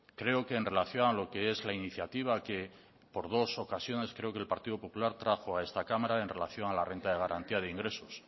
creo que en relación a lo que es la iniciativa que por dos ocasiones creo que el partido popular trajo a esta cámara en relación a la renta de garantía de ingresos